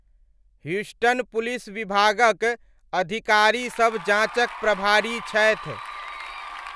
Houston police विभागक अधिकारीसब जाँचक प्रभारी छथि।